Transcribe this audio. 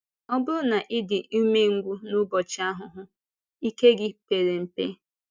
“Ọ bụrụ na ị dị ụmèngwụ n’ụbọchị ahụhụ, ike gị pèrè mpe.”